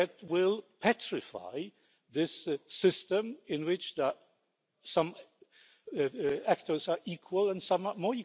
supporting me! We have leaders like Mr Kaczyński and like Mr Orbán, who is, in fact, hijacking our European